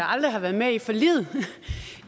aldrig har været med i forliget